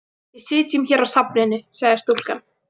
Við sitjum hér á safninu, sagði stúlkan.